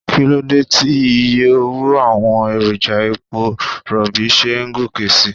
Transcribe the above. Kíló dé tí iye owó àwọn èròjà epo Rọ̀bì ṣe ń gòkè síi?